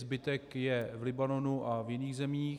Zbytek je v Libanonu a v jiných zemích.